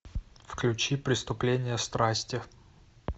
включи преступление страсти